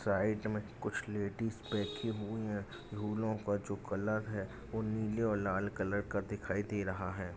Side मे कुछ ladies बैठी हुई है झूलों का जो कलर है वो नीले और लाल कलर का दिखाई दे रहा है।